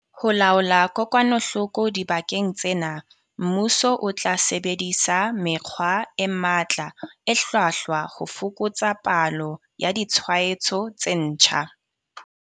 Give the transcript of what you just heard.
Ho laola kokwanahloko dibakeng tsena, mmuso o tla sebedisa mekgwa e matla e hlwahlwa ho fokotsa palo ya ditshwaetso tse ntjha.